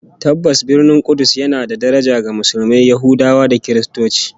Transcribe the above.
Tabbas, Birnin Kudus yana da daraja ga Musulmai, Yahudawa da Kiristoci